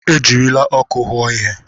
Ejirila ọkụ hụụo ihe.